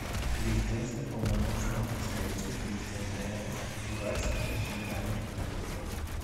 резиденция полномочного представителя президента рф в уральском федеральном округе